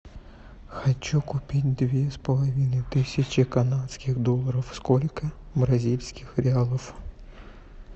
хочу купить две с половиной тысячи канадских долларов сколько бразильских реалов